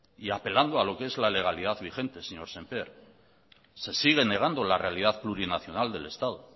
y apelando a lo que es la legalidad vigente señor sémper se sigue negando la realidad plurinacional del estado